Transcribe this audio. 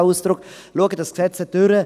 Schauen Sie das Gesetz einmal durch: